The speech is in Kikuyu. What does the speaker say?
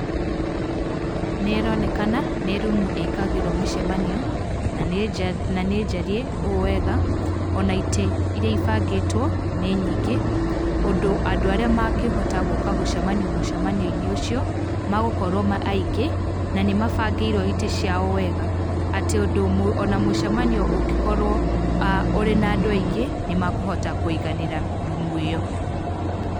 Nĩ ĩronekana nĩ rumu ĩkagĩrwo mĩcemanio, na nĩnjariĩ ũ wega, ona itĩ iria ibangĩtwo nĩ nyingĩ ũndũ andũ arĩa mangĩhota gũka gũcemania mũcemanio-inĩ ũcio, magũkorwo me aingĩ, na nĩ mabangĩirwo itĩ ciao o wega, atĩ o na mũcemanio ũngĩkorwo ũrĩ na andũ aingĩ nĩmakũhota kũiganĩra rumu ĩyo.